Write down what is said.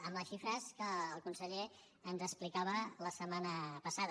amb les xifres que el conseller ens explicava la setmana passada